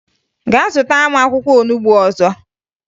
Gaa zụtara m akwụkwọ olubo ozugbo!